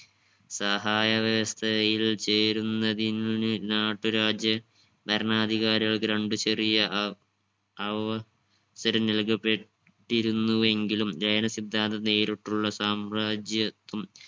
സഹായ വ്യവസ്ഥതയിൽ ചേരുന്നതിന് നാട്ടുരാജ്യ ഭരണാധികാരികൾക്ക് രണ്ടു ചെറിയ അഹ് അവ സരം നൽകപ്പെട്ടിരുന്നുവെങ്കിലും ലയന സിദ്ധാന്തം നേരിട്ടുള്ള സമ്രാജ്യത്വം